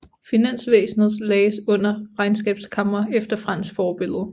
Finansvæsenet lagdes under regnskabskamre efter fransk forbillede